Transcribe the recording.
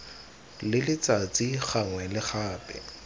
le letsatsi gangwe le gape